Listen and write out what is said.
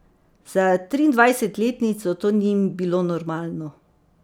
Za triindvajsetletnico to ni bilo normalno.